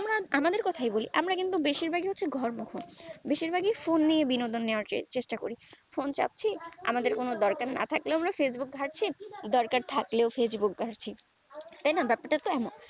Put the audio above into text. আহ আমাদের কথা বলি আমরা বেশির ভাগেই হচ্ছি ঘর মুখ্য বেশির ভাগই phone নিয়ে বিনোদনের চেষ্টা করি phone ঘাঁটছি আমাদের দরকার না থাকলেও facebook ঘাঁটছি দরকার থাকলেও facebook ঘাঁটছি তাই না বেপার টা তো এক